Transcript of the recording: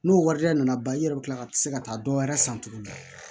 N'o warijɛ nana ban i yɛrɛ bɛ tila ka se ka taa dɔ wɛrɛ san tuguni